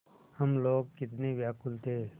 हम लोग कितने व्याकुल थे